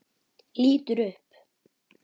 Lítur upp.